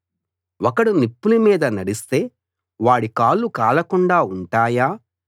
ఒకడు నిప్పుల మీద నడిస్తే వాడి కాళ్ళు కాలకుండా ఉంటాయా